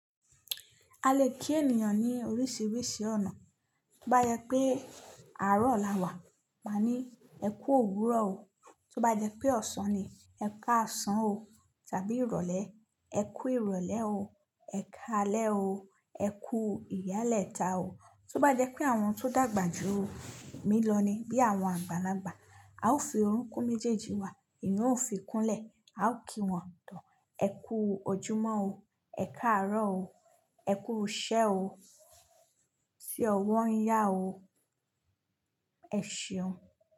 A le kí ènìyàn ní oríṣiríṣi ọ̀nà. Tó bá yẹ pé àárọ̀ là wà, màá ní "ẹ kú òwúrọ̀ o". Tó bá jẹ́ pé ọ̀sán ni, ẹ káàsán o tàbí ìrọ̀lẹ́, ẹ kú ìrọ̀lẹ́ o, ẹ káalẹ́ o, ẹ kú ìyálẹ́ta o. Tó bá jẹ́ pé àwọn tó dàgbà jù mí lọ ni bí àwọn àgbàlagbà, a ó fi orokun méjèèjì wa, èyan ó fi kúnlẹ̀, a ó kí wọn "ẹ kú ojúmọ́ o, ẹ káàárọ̀ o, ẹ kú ṣẹ́ o, ṣe ọwọ́ ń yá o, ẹ ṣeun.